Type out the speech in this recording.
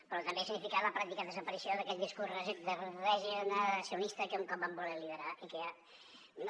però també significa la pràctica desaparició d’aquell discurs regeneracionista que un cop van voler liderar i que ja